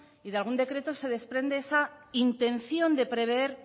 y de algún decreto se desprende esa intención de prever